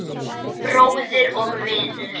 Bróðir og vinur.